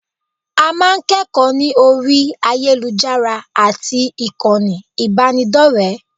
A máa ń kẹ́kọ̀ọ́ ní orí ayélujára àti ìkànnì ìbánidọ́rẹ̀ẹ́